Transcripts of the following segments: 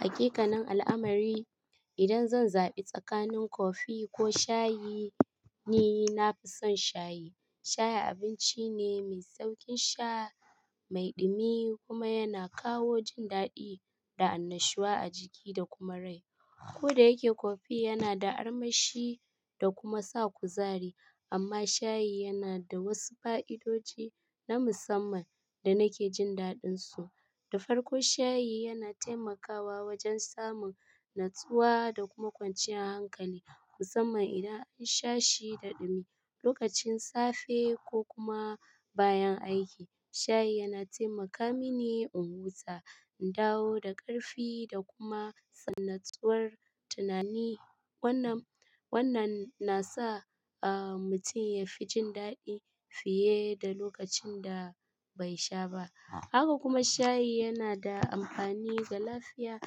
Hakikanan al'amari, idan zan zabi tsakanin kofi ko shayi, ni nafi son shayi. Shayi abinci ne mai sauƙin sha, mai ɗumi kuma yana kawo jin daɗi da annashuwa a jiki da kuma rai. Ko da yake kofi yana da armashi da kuma sa kuzari, amma shayi yana da wasu fa'idodi na musamman da nake jin daɗinsu. Da farko, shayi yana taimakawa wajen samun natsuwa da kuma kwanciyar hankali, musamman idan an sha shi da ɗumi, lokacin safe ko kuma bayan aiki. Shayi yana taimaka mini in huta, in dawo da ƙarfi da kuma in natsuwar tunani. Wannan, wannan nasa, ah, mutum yafi jin daɗi fiye da lokacin da bai sha ba. Haka kuma shayi yana da amfani ga lafiya.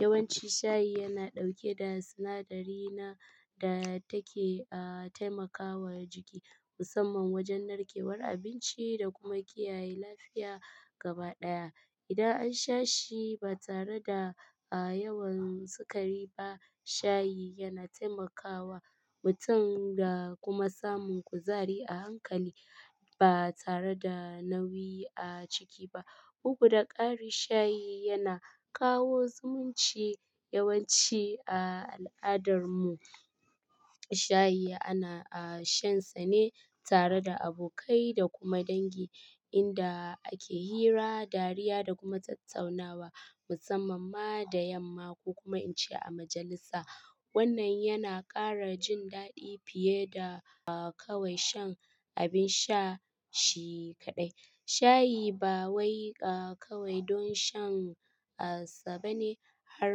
Yawanci shayi yana ɗauke da sinadari na da take, ah, taimakawa jiki musamman wajen narkewar abinci da kuma kiyaye lafiya gaba ɗaya. Idan an sha shi ba tare da, ah, yawan sukari ba, shayi yana taimakawa mutum da kuma samun kuzari a hankali ba tare da nauyi a ciki ba. Kugu da ƙari, shayi yana kawo zumunci. Yawanci a al'adarmu shayi ana, ah, shansa ne tare da abokai da kuma dangi inda ake hira, dariya da kuma tattaunawa musamman ma da yamma ko kuma in ce a majalisa. Wannan yana ƙara jin daɗi fiye da, ah, kawai shan abin sha shi kaɗai. Shayi ba wai, ah, kawai don shan, ah, saba ne har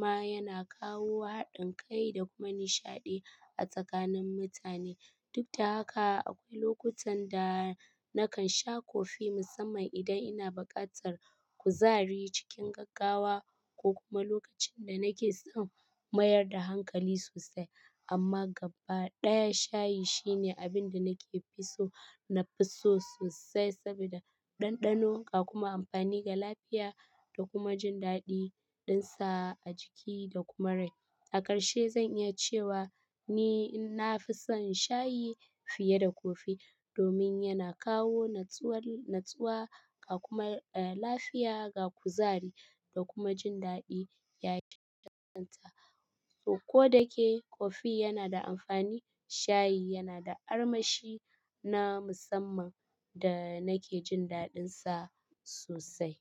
ma yana kawo haɗin kai da kuma nishaɗi a tsakanin mutane. Duk da haka akwai lokutan da nakan sha kofi musamman idan ina buƙatar kuzari cikin gaggawa ko kuma lokacin da nake son mayar da hankali sosai. Amma gaba ɗaya shayi shine abinda nake fi so nafi so sosai sabida ɗanɗanon ka kuma amfani ga lafiya da kuma jin daɗi dinsa a jiki da kuma rai. A ƙarshe zan iya cewa ni nafi son shayi fiye da kofi domin yana kawo natsuwar, natsuwa a kuma, eh, lafiya ga kuzari da kuma jin daɗi ya yi a kanta. Ko da ke kofi yana da amfani, shayi yana da armashi na musamman da nake jin daɗinsa sosai.